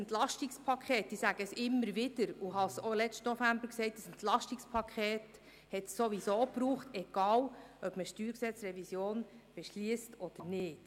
Ein EP – ich sage es immer wieder, und ich habe es auch letzten November gesagt – hat es sowieso gebraucht, egal, ob man eine Revision des Steuergesetzes vom 21. Mai 2000 (StG) beschliesst oder nicht.